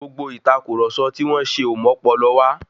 Gbogbo ìtàkurọ̀sọ tí wón ṣe o mọ́pọlọ wá